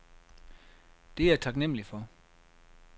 Det er jeg taknemlig for.